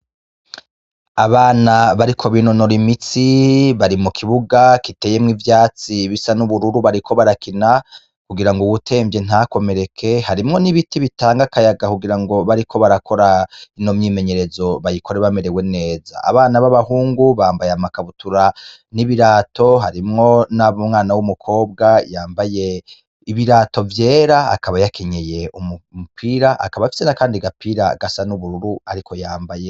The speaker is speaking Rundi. Abana bariko binonora imitsi bari mu kibuga kiteyemwo ivyatsi bisa n'ubururu bariko barakina kugira ngo uwutemvye ntakomereke harimwo n'ibiti bitanga akayaga kugira ngo bariko barakora ino myimenyerezo bayikore bamerewe neza abana b'abahungu bambaye amakabutura n'ibirato hari mwo nab’umwana w'umukobwa yambaye ibirato vyera akaba yakenyeye umupira akaba afise na, kandi gapira gasa n'ubururu, ariko yambaye.